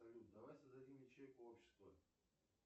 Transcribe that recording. салют давай создадим ячейку общества